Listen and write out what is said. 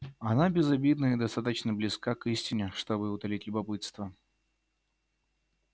она безобидна и достаточно близка к истине чтобы утолить любопытство